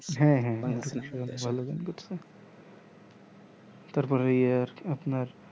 হ্যাঁ হ্যাঁ ইন্দোকেশর অনেক ভালো ভালো গান করেছে তারপর ইয়ে আপনার